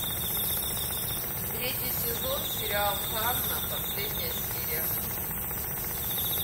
третий сезон сериал ханна последняя серия